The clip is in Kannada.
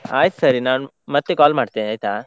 ಆಯ್ತು ಸರಿ, ನಾನ್ ಮತ್ತೆ call ಮಾಡ್ತೇನೆ ಆಯ್ತಾ?